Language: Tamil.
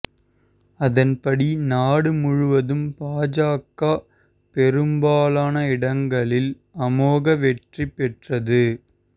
அதன்படி நாடு முழுவதும் பாஜக பெரும்பாலான இடங்களில் அமோக வெற்றி பெற்றது